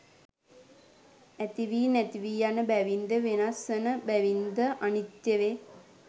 ඇතිවී නැතිවී යන බැවින්ද වෙනස් වන බැවින්ද අනිත්‍ය වේ.